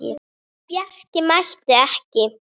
En Bjarki mætti ekki.